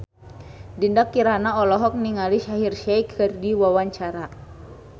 Dinda Kirana olohok ningali Shaheer Sheikh keur diwawancara